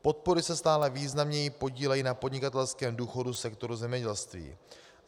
Podpory se stále významněji podílejí na podnikatelském důchodu sektoru zemědělství.